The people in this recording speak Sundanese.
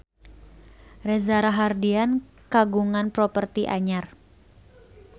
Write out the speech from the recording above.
Reza Rahardian kagungan properti anyar